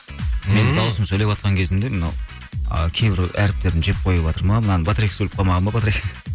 ммм менің даусым сөйлеватқан кезімде мынау а кейбір әріптерін жеп қойыватыр ма мынаның батарейкасы өліп қалмаған ба